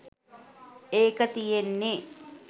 ඒක තියෙන්නේ